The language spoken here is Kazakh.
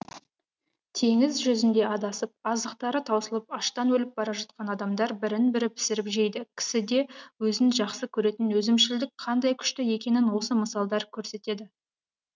теңіз жүзінде адасып азықтары таусылып аштан өліп бара жатқан адамдар бірін бірі пісіріп жейді кісіде өзін жақсы көретін өзімшілдік қандай күшті екенін осы мысалдар көрсетеді